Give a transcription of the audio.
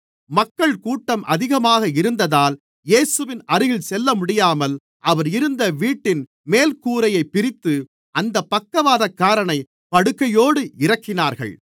மக்கள்கூட்டம் அதிகமாக இருந்ததால் இயேசுவின் அருகில் செல்லமுடியாமல் அவர் இருந்த வீட்டின் மேல்கூரையைப் பிரித்து அந்தப் பக்கவாதக்காரனை படுக்கையோடு இறக்கினார்கள்